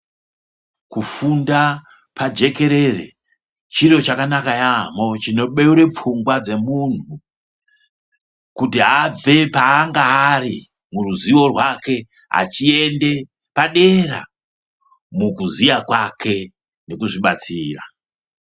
Kufunda pajekerere chiro chakanaka yampho chinobeure pfungwa dzemuntu kuti abve paange ari muruziwo rwake achiende padera mukuziya kwake nekuzvibatsira.